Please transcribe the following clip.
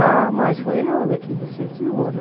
Ah, mas foi ela que incentivou, né?